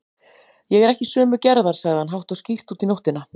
Ég er ekki sömu gerðar, sagði hann hátt og skýrt út í nóttina.